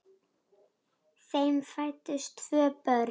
Þeim fæddust tvö börn.